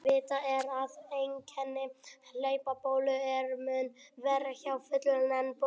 Vitað er að einkenni hlaupabólu eru mun verri hjá fullorðnum en börnum.